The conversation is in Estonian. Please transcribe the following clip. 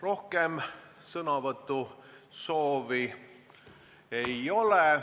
Rohkem sõnavõtusoovi ei ole.